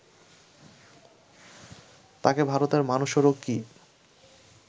তাঁকে ভারতের মানুষেরও কি